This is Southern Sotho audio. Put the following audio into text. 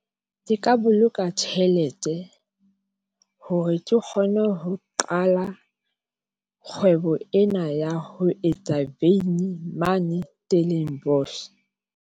Ke ka boloka tjhelete hore ke kgone ho qala kgwebo ena ya ho etsa veini mane .